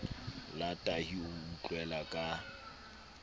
la tahi o utlwela ka